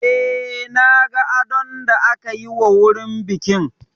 Eh, na ga adon da aka yi wa wurin bikin